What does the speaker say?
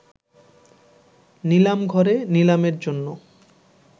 নিলামঘরে নিলামের জন্য